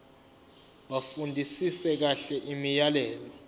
bafundisise kahle imiyalelo